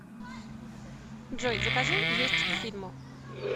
джой закажи есть к фильму